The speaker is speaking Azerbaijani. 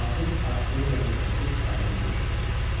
Ağır artilleriyanın səsi aydınca eşidilirdi.